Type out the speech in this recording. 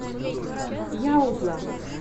яуза